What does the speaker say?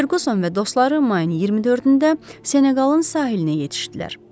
Ferguson və dostları mayın 24-də Seneqalın sahilinə yetişdilər.